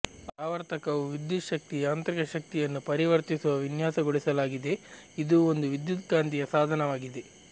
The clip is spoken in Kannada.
ಆವರ್ತಕವು ವಿದ್ಯುತ್ ಶಕ್ತಿ ಯಾಂತ್ರಿಕ ಶಕ್ತಿಯನ್ನು ಪರಿವರ್ತಿಸುವ ವಿನ್ಯಾಸಗೊಳಿಸಲಾಗಿದೆ ಇದು ಒಂದು ವಿದ್ಯುತ್ಕಾಂತೀಯ ಸಾಧನವಾಗಿದೆ